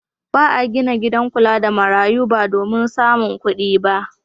Ba a gina gidan kula da marayu ba domin samun kuɗi.